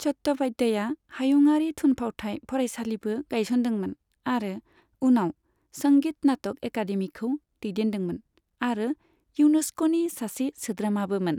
चट्ट'पाध्याया हायुङारि थुनफावथाय फरायसालिबो गायसनदोंमोन आरो उनाव संगीत नाटक एकादेमीखौ दैदेनदोंमोन, आरो इउनेस्क'नि सासे सोद्रोमाबोमोन।